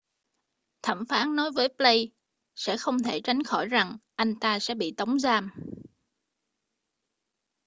thẩm phán nói với blake sẽ không thể tránh khỏi rằng anh ta sẽ bị tống giam